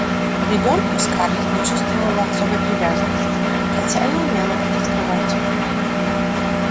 к ребёнку скарлетт не чувствовала особой привязанности хотя и умела это скрывать